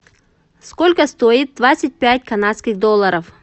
сколько стоит двадцать пять канадских долларов